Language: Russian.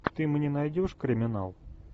ты мне найдешь криминал